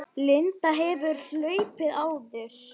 Linda: Hefurðu hlaupið áður?